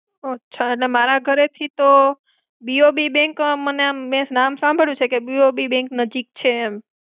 અચ્છા, એટલે મારા ઘરેથી તો, BOB bank મેં આમ નામ સાંબળ્યું છે કે BOB bank નજીક છે.